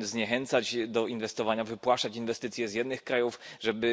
zniechęcać do inwestowania, wypłaszać inwestycje z jednych krajów, żeby